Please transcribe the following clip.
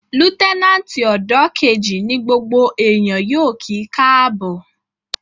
Lútẹ́nàtì ọ́dọ̀ kejì ní gbogbo èèyàn yóò kí káàbọ̀